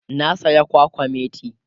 na saya kwakwamati